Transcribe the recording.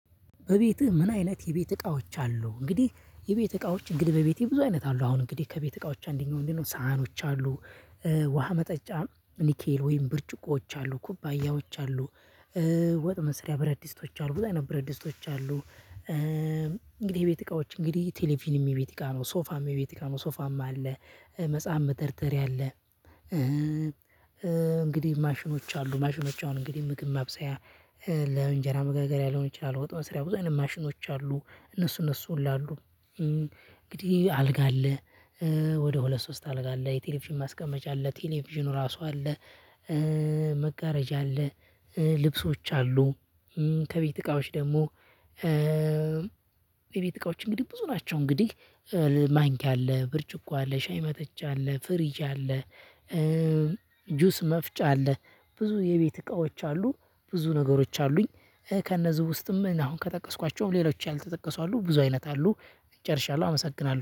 በቤትህ? ምን አይነት የቤት እቃዎች አሉ እንግዲህ የቤት እቃዎች እንግዲህ በቤቴ ብዙ አይነት አሉ አሁን እንግዲህ ከቤት እቃዎች አንደኛው ምንድን ነው ሰሀኖች አሉ። ውሃ መጠጫ ኒኬል ወይም ብርጭቆዎች አሉ ኩባያዎች አሉ ወጥ መስሪያ ብረትድስቶች አሉ ብዙ ነገር ብረትድስቶች አሉ። እንግዲህ የቤት እቃዎች እንግዲህ ቴሌቪዥንም የቤት እቃ ነው ሶፋም የቤት እቃ ነው ሶፋማ አለ መጽሐፍ መደርደሪያ አለ። እንግዲህ ማሽኖች አሉ ማሽኖች አሁን እንግዲህ ምግብ ማብሰያ ለእንጀራ መጋገሪያ ሊሆን ይችላል ወጥ መስሪያ ብዙ አይነት ማሽኖች አሉ እነሱ እነሱ ሁሉ አሉ። እንግዲህ አልጋ አለ። ወደ ሁለት ሶስት አልጋ አለ የቴሌቪዥን ማስቀመጫ አለ ቴሌቪዥኑ ራሱ አለ። መጋረጃ አለ። ልብሶች አሉ። ከቤት እቃዎች ደግሞ የቤት እቃዎች እንግዲህ ብዙ ናቸው። እንግዲህ ማንኪያ አለ ብርጭቆ አለ ሻይ መጠጫ አለ ፍሪጅ አለ። ጁስ መፍጫ አለ ብዙ የቤት እቃዎች አሉ ብዙ ነገሮች አሉኝ። ከነዚህ ውስጥም አሁን ከጠቀስኳቸውም ሌሎች ያልተጠቀሱ አሉ ብዙ አይነት አሉ። ጨርሻለሁ አመሰግናለሁ